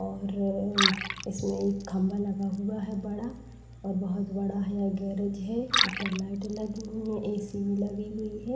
और म इसमें खंभा लगा हुआ है बड़ा और बहोत बड़ा यह गैरेज है। ऊपर लाइट लगी हुई है एसी भी लगी हुई है।